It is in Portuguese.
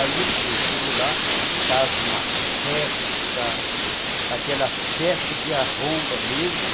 Aí ele foi, chegou lá, estava uma festa, aquela festa de arromba mesmo.